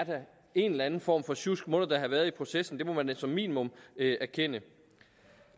en eller anden form for sjusk må der da havde været i processen det må man da som minimum erkende